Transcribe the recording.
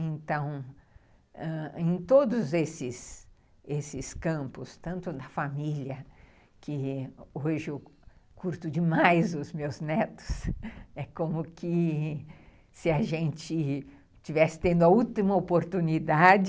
Então, ãh, em todos esses esses campos, tanto na família, que hoje eu curto demais os meus netos, é como que se a gente tivesse tendo a última oportunidade,